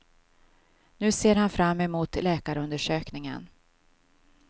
Nu ser han fram emot läkarundersökningen.